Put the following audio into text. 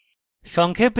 সংক্ষেপে